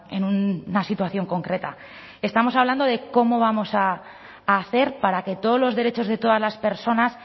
en una situación concreta estamos hablando de cómo vamos a hacer para que todos los derechos de todas las personas